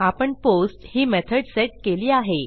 आपणPOST ही method set केली आहे